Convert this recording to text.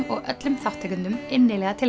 og öllum þátttakendum innilega til